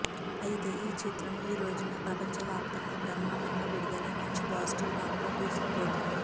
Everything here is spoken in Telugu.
అయితే ఈ చిత్రం ఈ రోజున ప్రపంచ వ్యాప్తంగా బ్రహ్మాండంగా విడుదలై మంచి పాజిటివ్ టాక్ తో దూసుకుపోతోంది